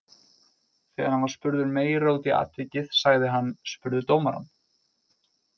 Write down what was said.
Þegar hann var spurður meira út í atvikið sagði hann: Spurðu dómarann.